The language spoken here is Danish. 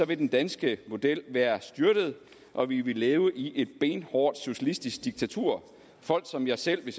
vil den danske model være styrtet og vi vil leve i et benhårdt socialistisk diktatur folk som jeg selv vil